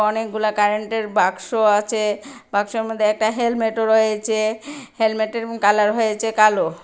অনেকগুলা কারেন্টের বাক্স আছে বাক্সর মধ্যে একটা হেলমেটও রয়েছে হেলমেটের উম কালার হয়েছে কালো।